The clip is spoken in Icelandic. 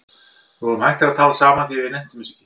Við vorum hættir að tala saman því við nenntum þessu ekki.